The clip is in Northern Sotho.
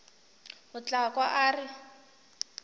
o tla kwa a re